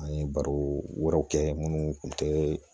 An ye baro wɛrɛw kɛ munnu kun tɛ